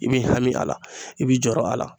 I b'i hami a la i b'i? jɔrɔ a la.